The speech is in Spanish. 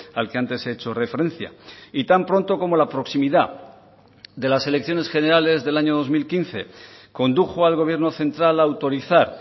al que antes he hecho referencia y tan pronto como la proximidad de las elecciones generales del año dos mil quince condujo al gobierno central a autorizar